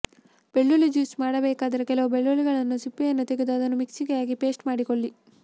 ಬೆಳ್ಳುಳ್ಳಿ ಜ್ಯೂಸ್ ಮಾಡಬೇಕಾದರೆ ಕೆಲವು ಬೆಳ್ಳುಳ್ಳಿಯನ್ನು ಸಿಪ್ಪೆಯನ್ನು ತೆಗೆದು ಅದನ್ನು ಮಿಕ್ಸಿಗೆ ಹಾಕಿ ಪೇಸ್ಟ್ ಮಾಡಿಕೊಳ್ಳಿ